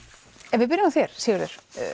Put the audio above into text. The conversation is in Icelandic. ef við byrjum á þér Sigurður